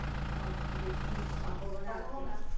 আহ বেশি সম্ভাবনা